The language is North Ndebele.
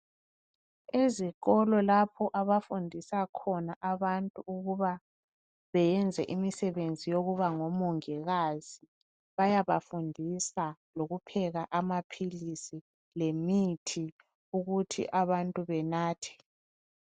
Ezikolo lapho abafundisa khona abantu ukuba beyenze imisebenzi yokuba ngomongikazi. Bayaba fundisa lokupheka amaphilisi lemithi ukuthi abantu benathe.